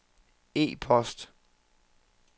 e-post